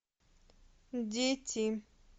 дети